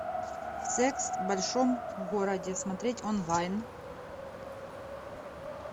секс в большом городе смотреть онлайн